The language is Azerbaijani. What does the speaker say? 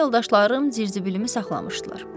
Köhnə yoldaşlarım zirzibilimi saxlamışdılar.